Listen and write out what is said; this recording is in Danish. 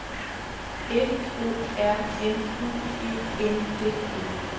F O R M U E N D E